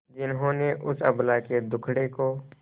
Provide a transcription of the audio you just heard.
जिन्होंने उस अबला के दुखड़े को